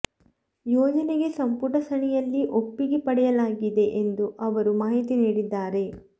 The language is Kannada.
ಯೋಜನೆಗೆ ಸಂಪುಟ ಸಣೆಯಲ್ಲಿ ಒಪ್ಪಿಗೆ ಪಡೆಯಲಾಗಿದೆ ಎಂದು ಅವರು ಮಾಹಿತಿ ನೀಡಿದ್ದಾರೆ